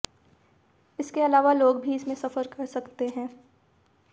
इसके अलावा लोग भी इसमें सफर कर सकते हैं